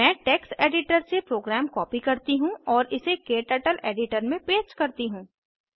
मैं text editor से program copy करती हूँ और इसे क्टर्टल एडिटर में पेस्ट करती हूँ